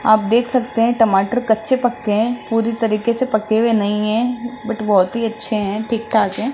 आप देख सकते हैं टमाटर कच्चे-पक्के हैं पूरी तरीके से पके हुए नहीं है बट बहोत ही अच्छे हैं ठीक-ठाक है।